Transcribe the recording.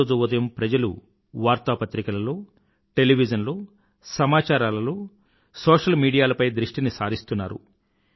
ప్రతిరోజూ ఉదయం ప్రజలు వార్తాపత్రికలలో టెలివిజన్ లో సమాచారాలలో సోషల్ మీడియాలపై దృష్టిని సారిస్తున్నారు